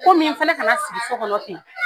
Komi n fana kana sigi sokɔnɔ ten.